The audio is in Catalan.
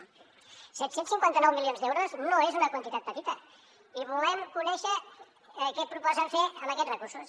set cents cinquanta nou milions d’euros no és una quantitat petita i volem conèixer què proposen fer amb aquests recursos